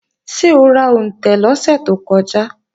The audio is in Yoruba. Ṣé o ra òǹtẹ̀ lọ́sẹ̀ tó kọjá?